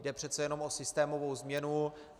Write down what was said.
Jde přece jenom o systémovou změnu.